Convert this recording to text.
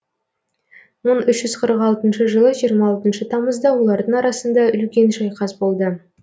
мың үш жүз қырық алтыншы жылы жиырма алтыншы тамызда олардың арасында үлкен шайқас болды